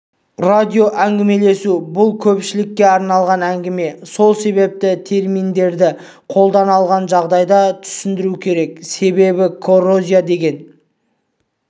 радиоәңгімелесу бұл көпшілікке арналған әңгіме сол себепті терминдерді қолдана қалған жағдайда түсіндіру керек себебі коррозия деген